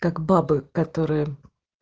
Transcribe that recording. как бабы которые